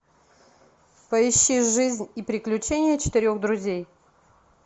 поищи жизнь и приключения четырех друзей